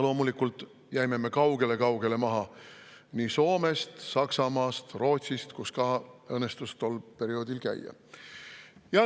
Loomulikult jäime me kaugele-kaugele maha nii Soomest, Saksamaast kui ka Rootsist, kus mul ka õnnestus tol perioodil käia.